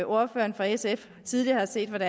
ordføreren fra sf tidligere har set